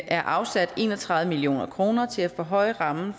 er afsat en og tredive million kroner til at forhøje rammen